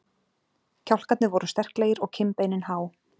Kjálkarnir voru sterklegir og kinnbeinin há.